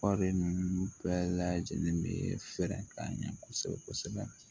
ninnu bɛɛ lajɛlen bɛ fɛɛrɛ k'a ɲɛ kosɛbɛ kosɛbɛ